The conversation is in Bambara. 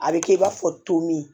A bɛ kɛ i b'a fɔ tomin